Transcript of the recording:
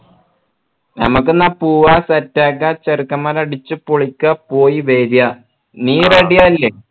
ഞമ്മക്കെന്ന പൂവ set ആക്ക ചെറുക്കന്മാർ അടിച്ചുപൊളിക്ക പോയി വര നീ ready അല്ലെ